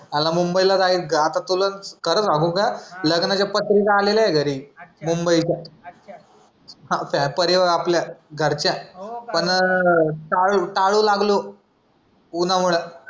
आला मुंबई ला जाईल का आत तुला खर सांगू का लग्नाचा पत्रिका आलेल्यात घरी मुंबईच्या आपल्या घरच्या टाळू टाळू लागलो उन्हामुळं